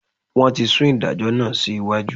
Wọ́n ti sún ìdájọ́ náà sí iwájú.